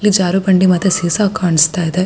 ಇಲ್ಲಿ ಜಾರು ಬಂಡೆ ಮತ್ತೆ ಸೀಸ ಕಾಣಿಸ್ತಾ ಇದೆ-